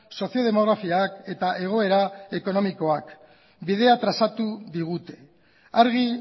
sozio demografiak eta egoera ekonomikoak bidea trazatu digute argi